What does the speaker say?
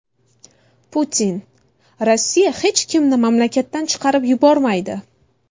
Putin: Rossiya hech kimni mamlakatdan chiqarib yubormaydi.